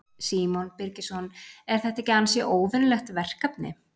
Símon Birgisson: Er þetta ekki ansi óvenjulegt verkefni?